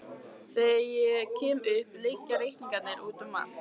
Þegar ég kem upp liggja reikningar úti um allt.